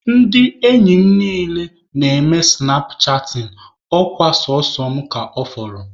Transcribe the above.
Ndị enyi m niile na-eme sụnap chatịn, ọ kwa sọsọ mụ ka ọ fọrọ.